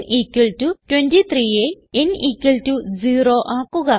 n 23യെ n 0 ആക്കുക